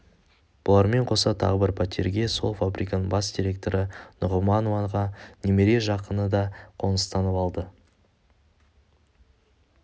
бұлармен қоса тағы бір пәтерге сол фабриканың бас директоры нұғыманованың немере жақыны да қоныстанып алды